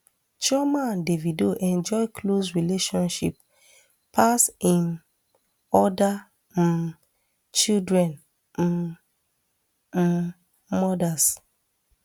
chioma and davido enjoy close relationship pass im oda um children um um mothers